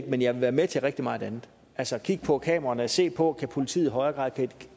men jeg vil være med til rigtig meget andet altså at kigge på kameraerne se på om politiet i højere grad